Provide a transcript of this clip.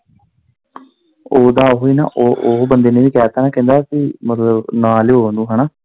ਓਦਾ ਓਹੀ ਨਾ ਉਹ, ਉਹ ਬੰਦੇ ਨੇ ਵੀ ਕਹਿਤਾ ਕਿ ਮਤਲਬ ਨਾ ਲਿਉ ਉਨੂੰ ਹੈਨਾ।